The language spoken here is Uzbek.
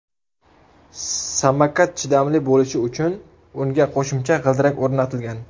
Samokat chidamli bo‘lishi uchun unga qo‘shimcha g‘ildirak o‘rnatilgan.